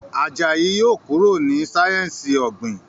Àjàyí yóò kúrò ní sáyẹnsì ogbin.